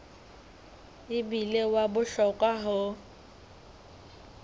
e bile wa bohlokwa ho